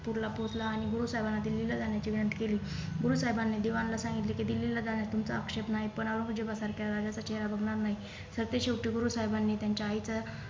पुरला पोहोचला आणि गुरु साहेबांना दिल्लीला जाण्याची विनंती केली गुरु साहेबांनी दिवाण ला सांगितले कि दिल्लीला जाण्यात तुमचाआक्षेप नाही पण औरंजेबासारखे राजाचा चेहेरा बघणार नाही तर ते शेवटी गुरु साहेबांनी त्याच्या आईच्या